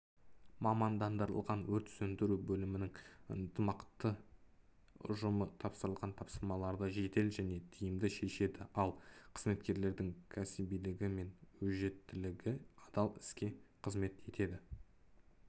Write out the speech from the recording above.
мамандандырылған өрт сөндіру бөлімінің ынтымақты ұжымы тапсырылған тапсырмаларды жедел және тиімді шешеді ал қызметкерлердің кәсібилігі мен өжеттілігі адал іске қызмет етеді